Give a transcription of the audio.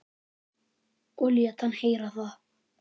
Og lét hann heyra það.